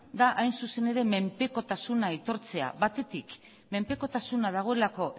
da hain zuzen ere menpekotasuna aitortzea batetik menpekotasuna dagoelako